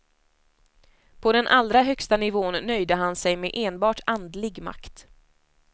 På den allra högsta nivån nöjde han sig med enbart andlig makt.